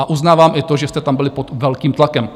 A uznávám i to, že jste tam byli pod velkým tlakem.